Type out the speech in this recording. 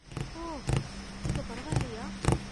ஓ, இப்போ பரவாயில்லையா?